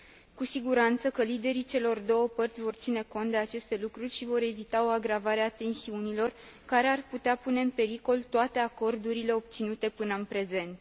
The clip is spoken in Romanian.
Cu siguranță că liderii celor două părți vor ține cont de aceste lucruri și vor evita o agravare a tensiunilor, care ar putea pune în pericol toate acordurile obținute până în prezent.